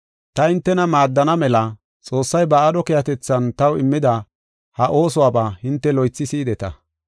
Ta hintena maaddana mela Xoossay ba aadho keehatethan taw immida ha oosuwaba hinte loythi si7ideta.